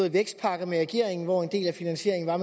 en vækstpakke med regeringen hvor en del af finansieringen er